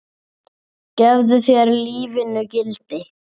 Hvað gefur lífinu gildi?